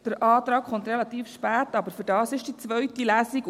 Der Antrag kommt relativ spät, aber dafür ist die zweite Lesung da.